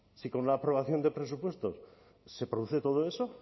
si con una aprobación de presupuestos se produce todo eso